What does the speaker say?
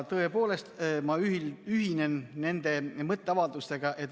Tõepoolest, ma ühinen nende mõtteavaldustega.